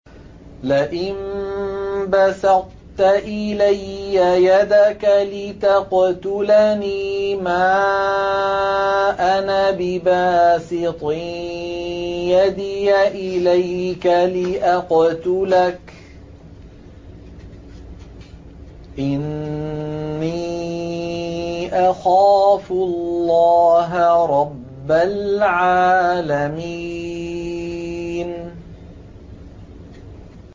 لَئِن بَسَطتَ إِلَيَّ يَدَكَ لِتَقْتُلَنِي مَا أَنَا بِبَاسِطٍ يَدِيَ إِلَيْكَ لِأَقْتُلَكَ ۖ إِنِّي أَخَافُ اللَّهَ رَبَّ الْعَالَمِينَ